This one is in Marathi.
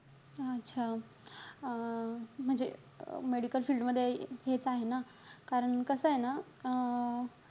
अच्छा. अं म्हणजे medical field मध्ये घेत आहे ना. कारण कसंय ना अं